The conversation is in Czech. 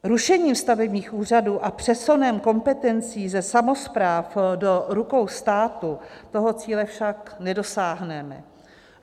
Rušením stavebních úřadů a přesunem kompetencí ze samospráv do rukou státu tohoto cíle však nedosáhneme.